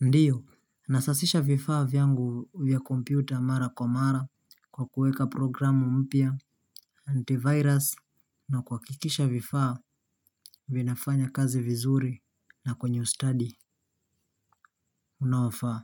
Ndio, nasasisha vifaa vyangu vya kompyuta mara kwa mara kwa kuweka programu mpya antivirus na kuhakikisha vifaa vinafanya kazi vizuri na kwenye ustadi unaofaa.